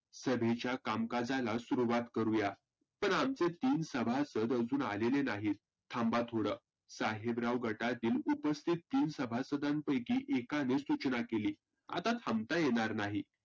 सभेच्या कामकाजाला सुरुवात करुया. तर आमचे तीन सभासद आजून आलेले नाहीत. थांबा थोड, साहेबराव गटातील तीन सभासदापैकी एकाने सुचना केली. आता थांबता येणार नाही.